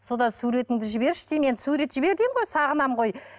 содан суретіңді жіберші деймін енді сурет жібер деймін ғой сағынамын ғой